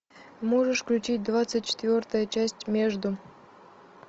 можешь включить двадцать четвертая часть между